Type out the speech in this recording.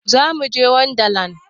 Zamuje wanda land